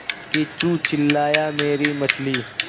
किच्चू चिल्लाया मेरी मछली